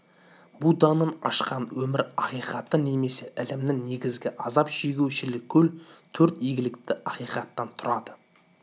будданың ашқан өмір ақиқаты немесе ілімінің негізі азап шегу-шілікол төрт игілікті ақиқаттан түрады